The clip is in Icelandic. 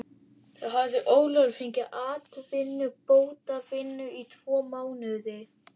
Þá hafði Ólafur fengið atvinnubótavinnu í tvo mánuði.